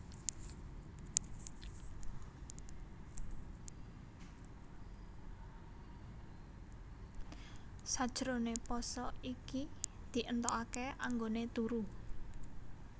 Sajroné pasa iki di éntokaké anggoné turu